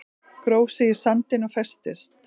Gróf sig í sandinn og festist